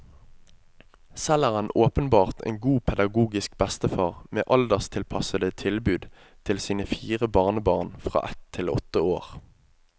Selv er han åpenbart en god pedagogisk bestefar med alderstilpassede tilbud til sine fire barnebarn fra ett til åtte år.